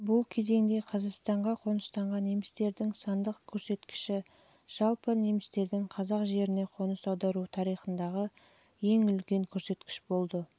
бұл кезеңде қазақстанға қоныстанған немістердің сандық көрсеткіші жалпы немістердің қазақ жеріне қоныс аудару тарихындағы ең үлкен көрсеткіш болды